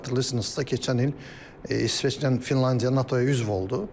Xatırlayırsınızsa, keçən il İsveçlə Finlandiya NATO-ya üzv oldu.